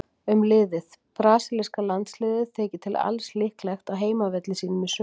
Um liðið: Brasilíska landsliðið þykir til alls líklegt á heimavelli sínum í sumar.